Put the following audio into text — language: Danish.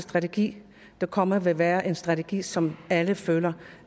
strategi der kommer vil være en strategi som alle føler